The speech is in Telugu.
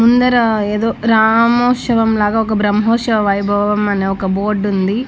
ముందర ఏదో రామోత్సవం లాగా ఒక బ్రహ్మోత్సవం వైభవం అని ఒక బోర్డ్ ఉంది.